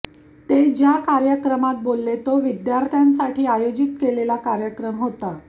ते ज्या कार्यक्रमात बोलले तो विद्यार्थ्यांसाठी आयोजित केलेला कार्यक्रम होता